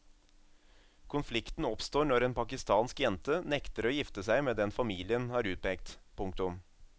Konflikten oppstår når en pakistansk jente nekter å gifte seg med den familien har utpekt. punktum